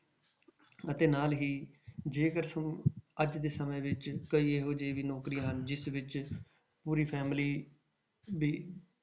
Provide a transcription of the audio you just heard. ਅਤੇ ਨਾਲ ਹੀ ਜੇਕਰ ਸ~ ਅੱਜ ਦੇ ਸਮੇਂ ਵਿੱਚ ਕਈ ਇਹੋ ਜਿਹੀਆਂ ਵੀ ਨੌਕਰੀਆਂ ਹਨ ਜਿਸ ਵਿੱਚ ਪੂਰੀ family ਵੀ